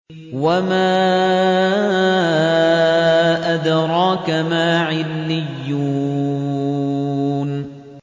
وَمَا أَدْرَاكَ مَا عِلِّيُّونَ